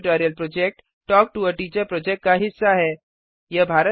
spoken tutorial project talk to a teacher project का हिस्सा है